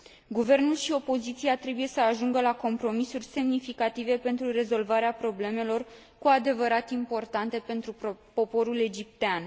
Guvernul și opoziția trebuie să ajungă la compromisuri semnificative pentru rezolvarea problemelor cu adevărat importante pentru poporul egiptean.